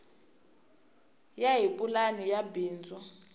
ya hi pulani ya bindzu